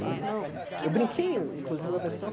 Falei assim, não, eu brinquei, inclusive, com a pessoa.